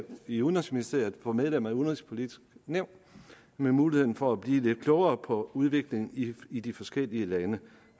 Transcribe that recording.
i udenrigsministeriet for medlemmer af udenrigspolitisk nævn med muligheden for at blive lidt klogere på udviklingen i i de forskellige lande